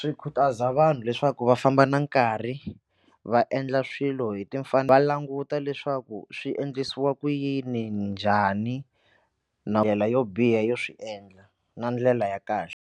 Swi khutaza vanhu leswaku va famba na nkarhi va endla swilo hi timfanelo va languta leswaku swi endlisiwa ku yini njhani na ndlela yo biha yo swi endla na ndlela ya kahle.